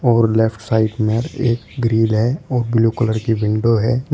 और left side में एक ग्रिल है और ब्लू कलर की विंडो है।